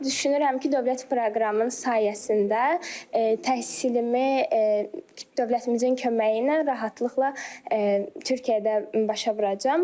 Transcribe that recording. Düşünürəm ki, dövlət proqramının sayəsində təhsilimi dövlətimizin köməyi ilə rahatlıqla Türkiyədə başa vuracam.